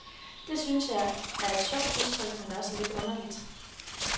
Det synes jeg er et sjovt udtryk, men også lidt underligt.